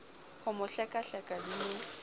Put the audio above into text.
ho mo hlekahleka di mo